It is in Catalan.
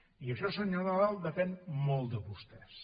i això senyor nadal depèn molt de vostès